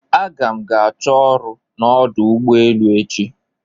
Aga m ga chọọ ọrụ n'ọdụ ụgbọ elu echi